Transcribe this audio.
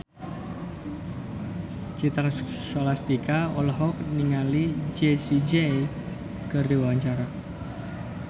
Citra Scholastika olohok ningali Jessie J keur diwawancara